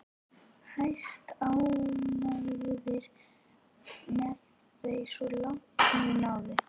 Hæstánægðir með þau svo langt sem þau náðu.